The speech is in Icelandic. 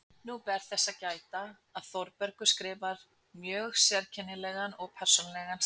Nú ber þess að gæta, að Þórbergur skrifar mjög sérkennilegan og persónulegan stíl.